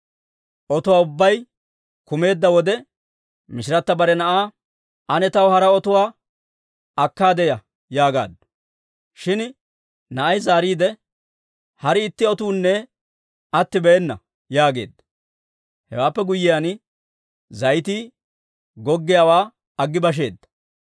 Otuwaa ubbay kumeedda wode, mishirata bare na'aa, «Ane taw hara otuwaa akkaade ya» yaagaaddu. Shin na'ay zaariide, «Hari itti otuunne attibeena» yaageedda. Hewaappe guyyiyaan, zayitii goggiyaawaa aggi basheedda.